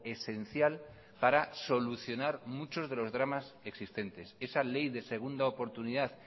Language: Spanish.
esencial para solucionar muchos de los dramas existentes esa ley de segunda oportunidad